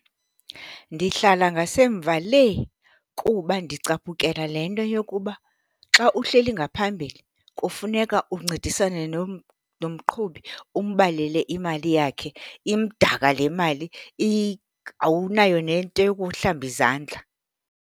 Ndihlala ngasemva lee kuba ndicaphukela le nto yokuba xa uhleli ngaphambili kufuneka uncedisane nomqhubi umbalele imali yakhe. Imdaka le mali, awunayo nento yokuhlamba izandla.